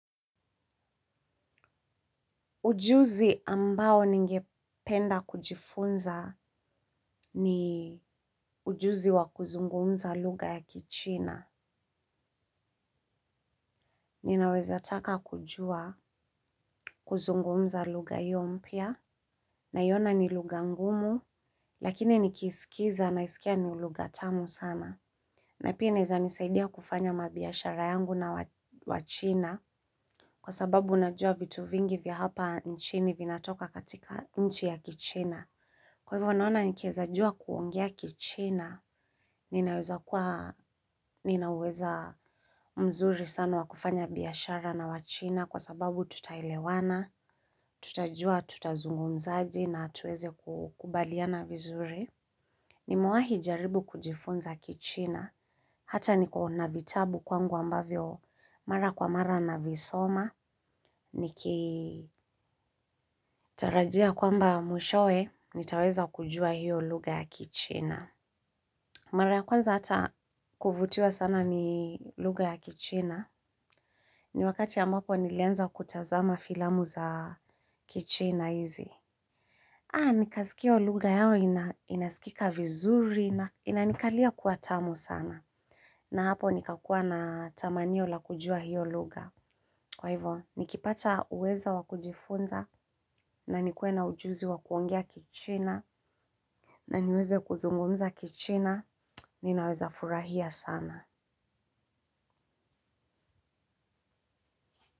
Ujuzi ambao ningependa kujifunza ni ujuzi wa kuzungumza lugha ya kichina. Ninaweza taka kujua kuzungumza lugha hiyo mpya. Naiona ni lugha ngumu, lakini nikisikiza naisikia ni lugha tamu sana. Na pia inaeza nisaidia kufanya mabiashara yangu na wachina. Kwa sababu unajua vitu vingi vya hapa nchini vinatoka katika nchi ya kichina. Kwa hivyo naona nikiweza jua kuongea kichina, ninaweza mzuri sana wa kufanya biashara na wachina kwa sababu tutaelewana, tutajua, tutazungumzaje na tuweze kukubaliana vizuri. Nimewahi jaribu kujifunza kichina, hata niko na vitabu kwangu ambavyo mara kwa mara navisoma, nikitarajia kwamba mwishowe, nitaweza kujua hiyo lugha ya kichina. Mara ya kwanza hata kuvutiwa sana ni lugha ya kichina. Ni wakati ambapo nilianza kutazama filamu za kichina hizi. Haa nikasikia hio lugha yao inasikika vizuri na inanikalia kuwa tamu sana. Na hapo nikakua na tamanio la kujua hiyo lugha. Kwa hivyo nikipata uwezo wa kujifunza na nikuwe na ujuzi wa kuongea kichina. Na niweze kuzungumza kichina ninaweza furahia sana.